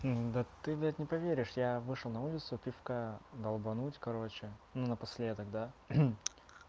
да ты блядь не поверишь я вышел на улицу пивка долбануть короче ну напоследок да